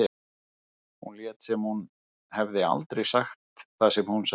Hún lét sem hún hefði aldrei sagt það sem hún sagði.